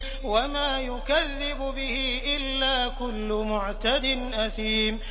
وَمَا يُكَذِّبُ بِهِ إِلَّا كُلُّ مُعْتَدٍ أَثِيمٍ